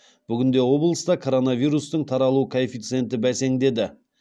бүгінде облыста коронавирустың таралу коэффициенті бәсеңдеді